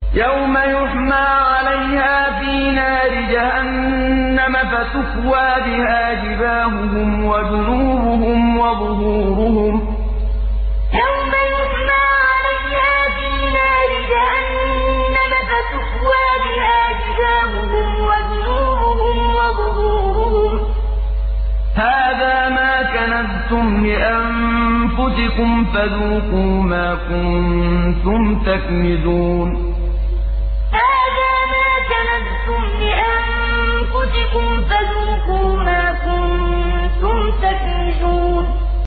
يَوْمَ يُحْمَىٰ عَلَيْهَا فِي نَارِ جَهَنَّمَ فَتُكْوَىٰ بِهَا جِبَاهُهُمْ وَجُنُوبُهُمْ وَظُهُورُهُمْ ۖ هَٰذَا مَا كَنَزْتُمْ لِأَنفُسِكُمْ فَذُوقُوا مَا كُنتُمْ تَكْنِزُونَ يَوْمَ يُحْمَىٰ عَلَيْهَا فِي نَارِ جَهَنَّمَ فَتُكْوَىٰ بِهَا جِبَاهُهُمْ وَجُنُوبُهُمْ وَظُهُورُهُمْ ۖ هَٰذَا مَا كَنَزْتُمْ لِأَنفُسِكُمْ فَذُوقُوا مَا كُنتُمْ تَكْنِزُونَ